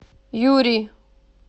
юрий